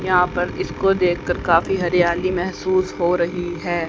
यहां पर इसको देखकर काफी हरियाली महसूस हो रही है।